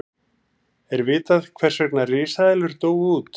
er vitað hvers vegna risaeðlur dóu út